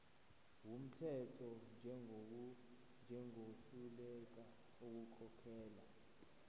wumthetho njengohluleka ukukhokhela